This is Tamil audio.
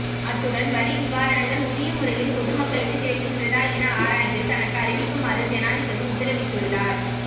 அத்துடன் வரி நிவாரணங்கள் உரிய முறையில் பொது மக்களுக்கு கிடைக்கின்றதா என ஆராய்ந்து தனக்கு அறிவிக்குமாறு ஜனாதிபதி உத்தரவிட்டுள்ளார்